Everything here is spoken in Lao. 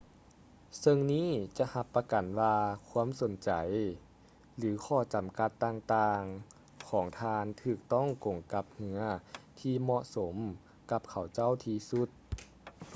ເຊິ່ງນີ້ຈະຮັບປະກັນວ່າຄວາມສົນໃຈ ແລະ/ຫຼື ຂໍ້ຈຳກັດຕ່າງໆຂອງທ່ານຖືກຕ້ອງກົງກັບເຮືອທີ່ເໝາະສົມກັບເຂົາເຈົ້າທີ່ສຸດ